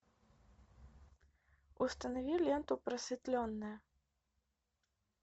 установи ленту просветленная